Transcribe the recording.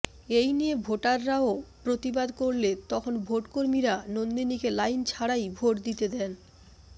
এই নিয়ে ভোটারাও প্রতিবাদ করলে তখন ভোটকর্মীরা নন্দিনীকে লাইন ছাড়াই ভোট দিতে দেন